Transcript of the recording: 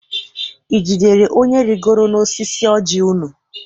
I jidere onye rigoro n'osisi ọji unu?